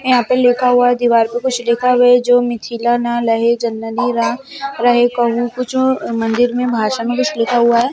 यहाँ पर लिखा हुआ है दीवार पर कुछ लिखा हुआ है जो मिथिला न रहे मंदिर में भाषा में कुछ लिखा हुआ है।